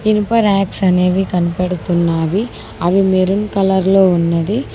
ఇనుప ర్యాక్స్ అనేవి కనపడుతున్నావి అవి మెరూన్ కలర్లో ఉన్నది.